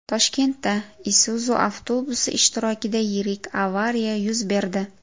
Toshkentda Isuzu avtobusi ishtirokida yirik avariya yuz berdi .